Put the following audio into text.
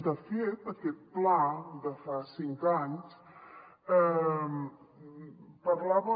de fet aquest pla de fa cinc anys parlava